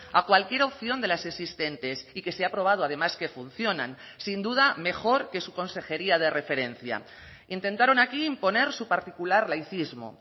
a cualquier opción de las existentes y que se ha aprobado además que funcionan sin duda mejor que su consejería de referencia intentaron aquí imponer su particular laicismo